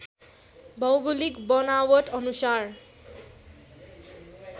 भौगोलिक बनावट अनुसार